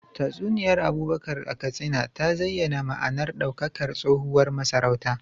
Tatsuniyar Abubakar a Katsina ta zayyana ma’anar daukakar tsohuwar masarautar.